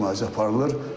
Müalicə aparılır.